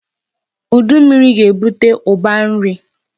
Udu mmiri ga-ebute ụba nri.